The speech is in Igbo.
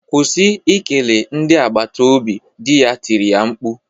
Kwụsị ikele ndị agbata obi! di ya tiri mkpu